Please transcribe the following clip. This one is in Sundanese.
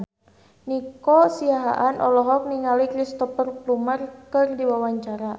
Nico Siahaan olohok ningali Cristhoper Plumer keur diwawancara